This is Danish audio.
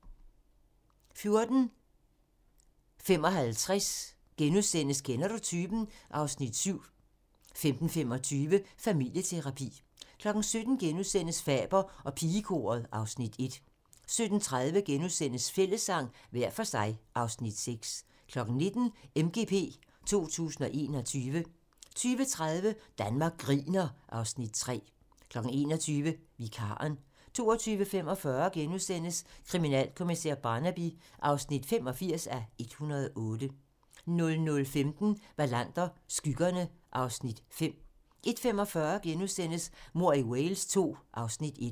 14:55: Kender du typen? (Afs. 7)* 15:25: Familieterapi 17:00: Faber og pigekoret (Afs. 1)* 17:30: Fællessang – hver for sig (Afs. 6)* 19:00: MGP 2021 20:30: Danmark griner (Afs. 3) 21:00: Vikaren 22:45: Kriminalkommissær Barnaby (85:108)* 00:15: Wallander: Skyggerne (Afs. 5) 01:45: Mord i Wales II (Afs. 1)*